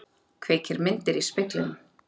Kveikir myndir í speglinum.